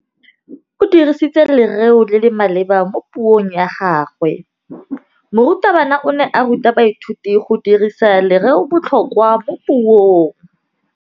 O dirisitse lerêo le le maleba mo puông ya gagwe. Morutabana o ne a ruta baithuti go dirisa lêrêôbotlhôkwa mo puong.